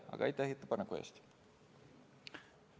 Aga aitäh ettepaneku eest!